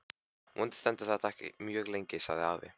Vonandi stendur þetta ekki mjög lengi sagði afi.